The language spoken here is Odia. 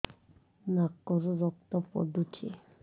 ନାକରୁ ରକ୍ତ ପଡୁଛି